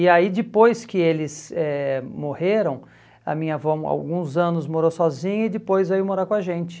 E aí, depois que eles eh morreram, a minha avó, alguns anos, morou sozinha e depois veio morar com a gente.